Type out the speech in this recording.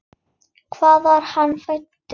Hvar var hann fæddur?